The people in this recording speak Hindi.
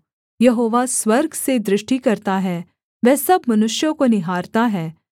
यहोवा स्वर्ग से दृष्टि करता है वह सब मनुष्यों को निहारता है